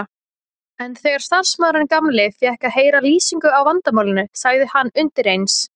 En þegar starfsmaðurinn gamli fékk að heyra lýsingu á vandamálinu sagði hann undir eins